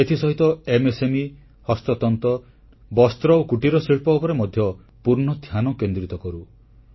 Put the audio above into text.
ଏଥିସହିତ ଏମ୍ଏସ୍ଏମ୍ଇ ହସ୍ତତନ୍ତ ବସ୍ତ୍ର ଓ କୁଟୀରଶିଳ୍ପ ଉପରେ ମଧ୍ୟ ପୂର୍ଣ୍ଣ ଧ୍ୟାନକେନ୍ଦ୍ରିତ କରୁ